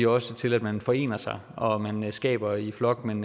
også til at man forener sig og at man skaber i flok men